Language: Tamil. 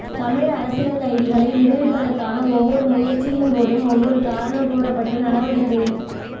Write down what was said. தமிழ் அரசியல் கைதிகளை விடுவிப்பதற்கான ஒவ்வொரு முயற்சியின்போதும் ஒவ்வொரு காரணம் கூறப்பட்டு நடவடிக்கைக